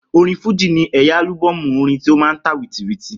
Orin fújì ní ẹ̀yà álúbọ̀mù orin tó máa n tà wìtìtìtì tẹ́lẹ̀